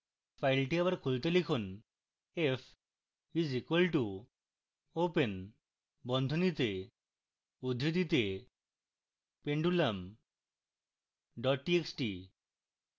file আবার খুলতে লিখুন: